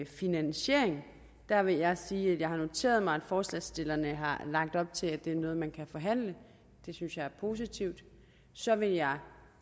finansieringen der vil jeg sige at jeg har noteret mig at forslagsstillerne har lagt op til at det er noget man kan forhandle det synes jeg er positivt så vil jeg